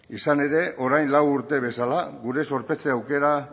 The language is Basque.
izan ere orain lau urte bezala gure zorpetze aukera